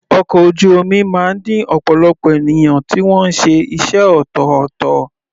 Ọkọ̀ ojú omi máa ń ní ọ̀pọ̀lọpọ̀ ènìyàn tí wọ́n ṣe iṣẹ́ ọ̀tọ̀ọ̀tọ̀.